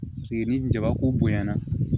Ni jabako bonya na